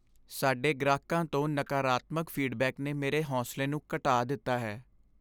ਸਾਡੇ ਗ੍ਰਾਹਕਾਂ ਤੋਂ ਨਕਾਰਾਤਮਕ ਫੀਡਬੈਕ ਨੇ ਮੇਰੇ ਹੌਸਲੇ ਨੂੰ ਘਟਾ ਦਿੱਤਾ ਹੈ।